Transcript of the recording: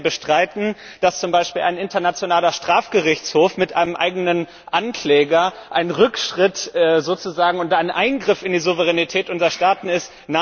Oder werden Sie bestreiten, dass zum Beispiel ein Internationaler Strafgerichtshof mit einem eigenen Ankläger sozusagen ein Rückschritt oder ein Eingriff in die Souveränität unserer Staaten ist?